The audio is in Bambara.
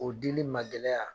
O dili magɛlɛya